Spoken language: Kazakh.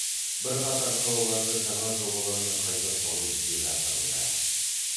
бірқатар қалаларды жаңа жобалармен қайта салу жүзеге асырылды